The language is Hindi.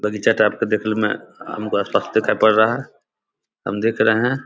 बगीचा टाइप का दिखल में हमको अ स्पष्ट दिखाई पड़ रहा है हम देख रहे --